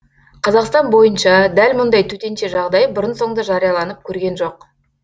қазақстан бойынша дәл мұндай төтенше жағдай бұрын соңды жарияланып көрген жоқ